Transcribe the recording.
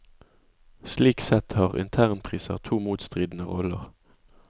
Slik sett har internpriser to motstridende roller.